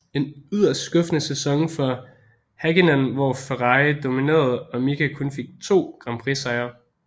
En yderst skuffende sæson for Häkkinen hvor Ferrari dominerede og Mika kun fik 2 grand prix sejre